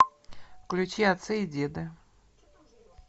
включи отцы и деды